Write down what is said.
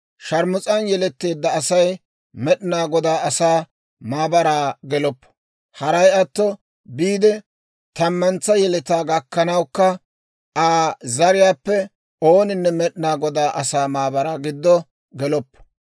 «Sharmus'an yeletteedda Asay Med'inaa Godaa asaa maabaraa geloppo; haray atto biide tammantsa yeletaa gakkanawukka, Aa zariyaappe ooninne Med'inaa Godaa asaa maabaraa giddo geloppo.